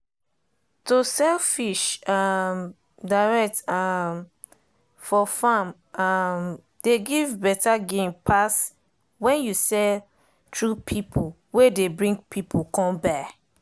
to sell fish um direct um for farm um dey give better gain pass when you sell thru people wey dey bring people come buy.